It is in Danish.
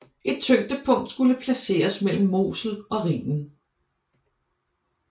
Et tyngdepunkt skulle placeres mellem Mosel og Rhinen